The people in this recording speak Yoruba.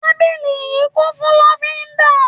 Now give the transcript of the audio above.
Tábìlì yìí kún fún lọ́fíńdà.